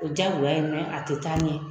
O ye diyagoya ye a tɛ taa ɲɛ